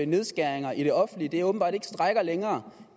nedskæringer i det offentlige åbenbart ikke strækker længere